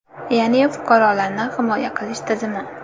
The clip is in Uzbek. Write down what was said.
Ya’ni fuqarolarni himoya qilish tizimi.